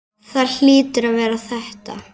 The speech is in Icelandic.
Það hlýtur að vera þetta.